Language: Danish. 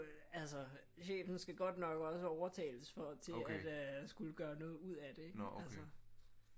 Altså chefen skal godt nok også overtales for til at skulle gøre noget ud af det ikke altså